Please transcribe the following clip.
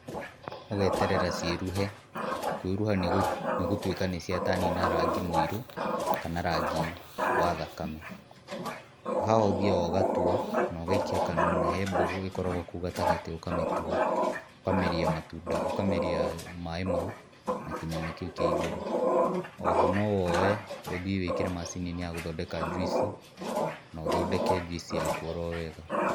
Ũgeterera ciĩruhe, kwĩruha nĩgũ, nĩgũtuĩka nĩcia turn na rangi mũirũ kana rangi wa thakame. Haha ũthiaga ũgatua nogaikia kanua na he mbũgũ ĩkoragwo kũu gatagatĩ ũkamĩtua. Ũkameria matunda, ũkameria maaĩ mau na kĩnyama kĩu kĩa igũrũ. Oho nowoe ũthiĩ wĩkĩre macini-inĩ ya gũthondeka njuici, nothondeke njuici yaku oro wega.